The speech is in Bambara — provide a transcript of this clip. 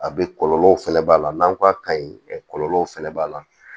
A bɛ kɔlɔlɔw fɛnɛ b'a la n'an ko a ka ɲi kɔlɔlɔw fɛnɛ b'a la